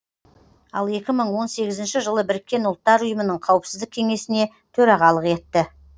ал екі мың он сегізінші жылы біріккен ұлттар ұйымының қауіпсіздік кеңесіне төрағалық етті